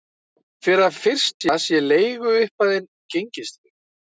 Fyrir það fyrsta sé leiguupphæðin gengistryggð